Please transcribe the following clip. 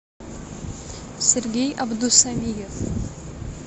сергей абдусамиев